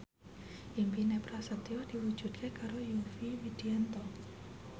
impine Prasetyo diwujudke karo Yovie Widianto